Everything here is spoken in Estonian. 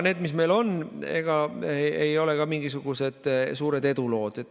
Need, mis meil on, ei ole ka mingisugused suured edulood.